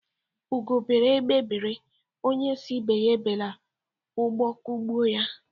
Ugo bere, egbé bere, onye sii ibe ya ebela ụgbọ kugbuo ya.